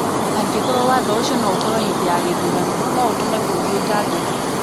Angĩkorũo watho ũcio nĩ ũgũtoorio hĩndĩ ya gĩthurano, no ũtũme bũrũri ũtangĩkĩ.